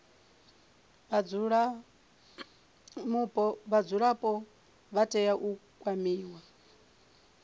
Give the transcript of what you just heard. vhadzulapo vha tea u kwamiwa